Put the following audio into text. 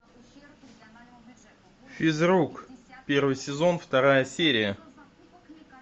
физрук первый сезон вторая серия